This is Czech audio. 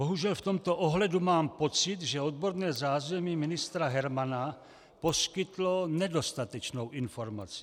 Bohužel v tomto ohledu mám pocit, že odborné zázemí ministra Hermana poskytlo nedostatečnou informaci.